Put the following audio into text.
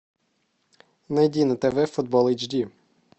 найди на тв футбол эйч ди